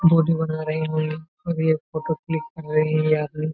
और ये photo click कर रही यहां पे।